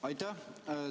Aitäh!